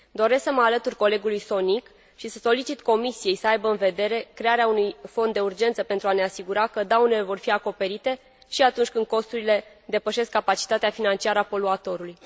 Doresc să mă alătur colegului Sonik și să solicit Comisiei să aibă în vedere crearea unui fond de urgență, pentru a ne asigura că daunele vor fi acoperite și atunci când costurile depășesc capacitatea financiară a poluatorului.